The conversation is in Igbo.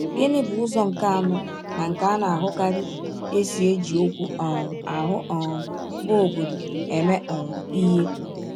Gịnị bụ ụzọ nke anọ na nke a na-ahụkarị e si eji okwu um ahụ um bụ́ “obodo” eme um ihe?